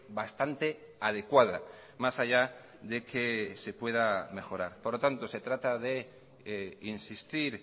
bastante adecuada más allá de que se pueda mejorar por lo tanto se trata de insistir